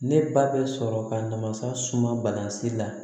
Ne ba bɛ sɔrɔ ka mansa suma balansi la